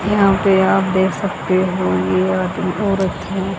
यहां पे आप देख सकते हो ये आदमी औरत हैं।